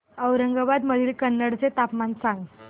औरंगाबाद मधील कन्नड चे तापमान सांग